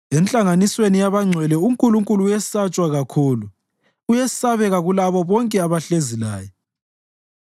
Enhlanganisweni yabangcwele uNkulunkulu uyesatshwa kakhulu; uyesabeka kulabo bonke abahlezi laye.